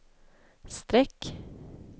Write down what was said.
streck